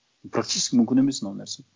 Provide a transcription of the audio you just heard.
практически мүмкін емес мынау нәрсе